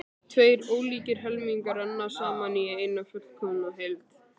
Tveir ólíkir helmingar renna saman í eina fullkomna heild.